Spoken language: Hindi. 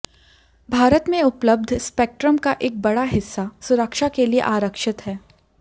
भारत में उपलब्ध स्पेक्ट्रम का एक बड़ा हिस्सा सुरक्षा के लिए आरक्षित है